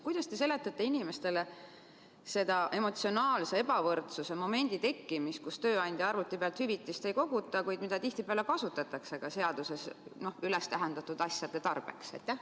Kuidas te seletate inimestele seda emotsionaalse ebavõrdsuse momendi tekkimist seeläbi, et tööandja arvuti pealt hüvitist ei koguta, kuid seda kasutatakse tihtipeale ka seaduses üles tähendatud asjade tarbeks?